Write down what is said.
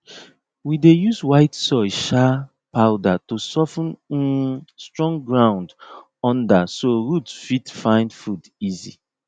we dey use white soil um powder to sof ten um strong ground under so root fit find food easy